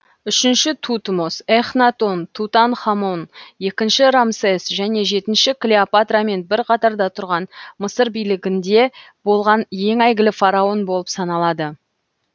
үшінші тутмос эхнатон тутанхамон екінші рамсес және жетінші клеопатрамен бір қатарда тұрған мысыр билігінде болған ең әйгілі фараон болып саналады